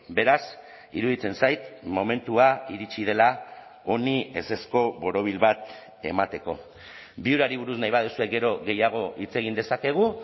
beraz iruditzen zait momentua iritsi dela honi ezezko borobil bat emateko viurari buruz nahi baduzue gero gehiago hitz egin dezakegu